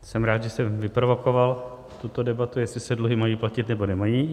Jsem rád, že jsem vyprovokoval tuto debatu, jestli se dluhy mají platit nebo nemají.